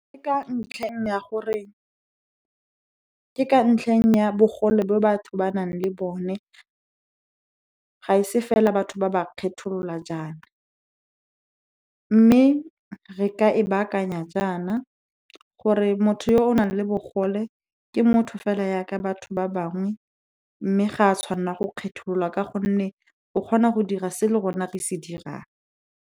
Ke ka ntlheng ya bogole bo batho ba nang le bone, ga e se fela batho ba ba kgetholola jaana. Mme re ka e baakanya jaana, gore motho yo o nang le bogole ke motho fela ya ka batho ba bangwe, mme ga a tshwanwa go kgethololwa ka gonne o kgona go dira se le rona re se dirang.